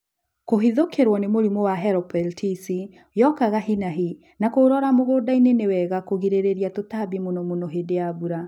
Kũhithũkĩrwo nĩ mũrĩmũ wa Helopeltisi yokaga hinahi na kũrora mũgũnda ni wega kũgirĩrĩria tũtambi mũno mũno hĩndĩ ya mbura